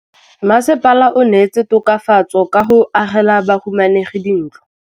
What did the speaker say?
Mmasepala o neetse tokafatsô ka go agela bahumanegi dintlo.